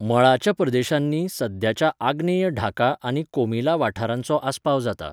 मळाच्या प्रदेशांनी सद्याच्या आग्नेय ढाका आनी कोमिला वाठारांचो आस्पाव जाता.